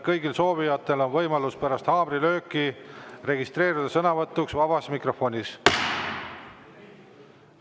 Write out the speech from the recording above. Kõigil soovijatel on võimalus pärast haamrilööki registreeruda sõnavõtuks vabas mikrofonis.